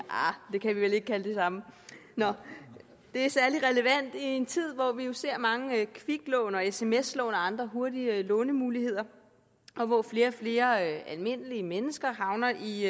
vi kan vel ikke det er det samme det er særlig relevant i en tid hvor vi ser mange kviklån og sms lån og andre hurtige lånemuligheder og hvor flere og flere almindelige mennesker havner i